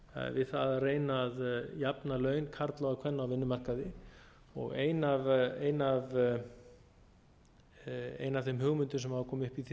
við það að reyna að jafna laun karla og kvenna á vinnumarkaði og ein af þeim hugmyndum sem hafa komið upp í því